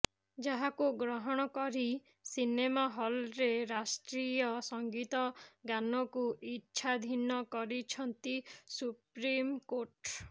ଯାହାକୁ ଗ୍ରହଣ କରି ସିନେମା ହଲରେ ରାଷ୍ଟ୍ରୀୟ ସଂଗୀତ ଗାନକୁ ଇଚ୍ଛାଧୀନ କରିଛନ୍ତି ସୁପ୍ରିମକୋର୍ଟ